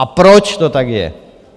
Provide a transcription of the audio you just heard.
A proč to tak je?